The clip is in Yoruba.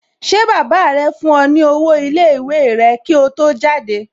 Ṣé baba rẹ fún ọ ní owó iléèwé rẹ kí ó tó jáde?